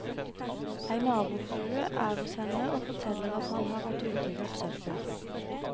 Ei nabofrue er hos henne og forteller at han har vært ute og kjørt søppel.